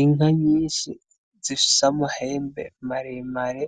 Inka nyinshi zissamo hembe maremare